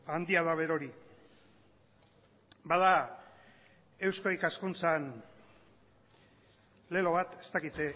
handia da berori bada eusko ikaskuntzan lelo bat ez dakit